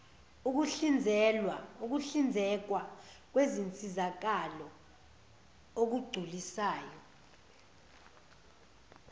ukuhlinzekwa kwezinsizakalo okugculisayo